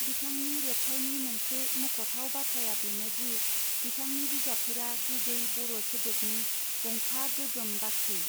बिथांनि रेबथाइनि मोनसे मख थाव बाथ्राया बेनादि बिथांनि बिजाबफोरा गुबै बर सोदोबनि गंफा गोगोम बक्करि.